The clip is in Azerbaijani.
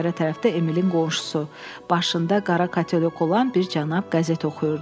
Pəncərə tərəfdə Emilin qonşusu, başında qara katelyok olan bir cənab qəzet oxuyurdu.